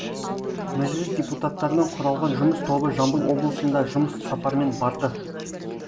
мәжіліс депутаттарынан құралған жұмыс тобы жамбыл облысында жұмыс сапарымен барды